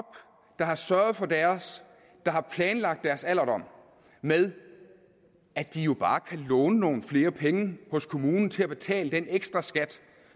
der har sørget for deres der har planlagt deres alderdom af med at de jo bare kan låne nogle flere penge hos kommunen til at betale den ekstraskat